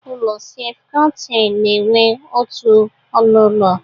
Ụlọ selfụ kontaịn na-enwe otu ọnụ ụlọ.